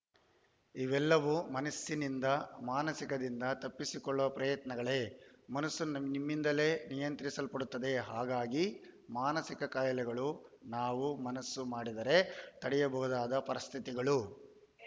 ಇವೆಲ್ಲವೂ ಮನಸ್ಸಿನಿಂದ ಮಾನಸಿಕ ದಿಂದ ತಪ್ಪಿಸಿಕೊಳ್ಳುವ ಪ್ರಯತ್ನಗಳೇ ಮನಸ್ಸು ನಮ್ಮಿಂದಲೇ ನಿಯಂತ್ರಿಸಲ್ಪಡುತ್ತದೆ ಹಾಗಾಗಿ ಮಾನಸಿಕ ಕಾಯಿಲೆಗಳು ನಾವು ಮನಸ್ಸು ಮಾಡಿದರೆ ತಡೆಯಬಹುದಾದ ಪರಿಸ್ಥಿತಿಗಳು